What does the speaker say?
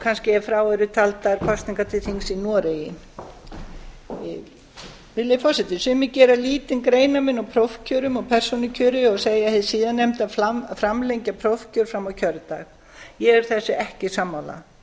kannski ef frá eru taldar kosningar til þings í noregi virðulegi forseti sumir gera lítinn greinarmun á prófkjörum og persónukjöri og segja hið síðarnefnda framlengja prófkjör fram á kjördag ég er þessu ekki sammála